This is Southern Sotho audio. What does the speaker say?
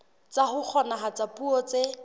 tsa ho kgonahatsa puo tse